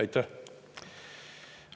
Aitäh!